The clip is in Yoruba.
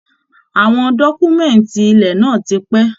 Àwọn dọkumẹ̀nti ilẹ̀ náà tí pé.